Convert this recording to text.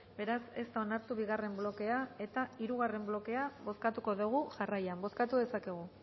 beraz ez da onartu bigarren blokea eta hirugarren blokea bozkatuko dugu jarraian bozkatu dezakegu